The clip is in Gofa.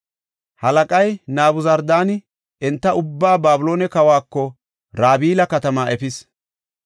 Halaqay Nabuzardaani enta ubbaa, Babiloone kawako Rabila katama efis.